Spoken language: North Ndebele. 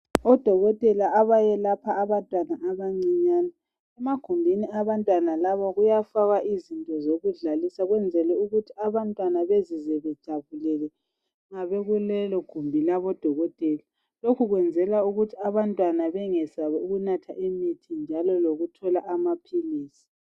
Odokotela abayelapha abantwana abancinyane, emagumbini abantwana labo kuyafakwa izinto zokudlalisa ukwenzela ukuthi abantwana bezizwe bejabulile nxa bekulelogumbi labodokotela. Lokho kwenzelwa ukuthi abantwana bengesabi ukunatha imithi njalo lokuthola amaphilisi.